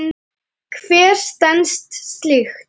Hver stenst slíkt?